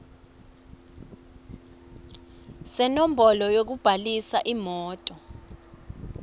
senombolo yekubhalisa imoti